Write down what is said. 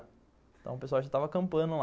Então o pessoal já tava acampando lá.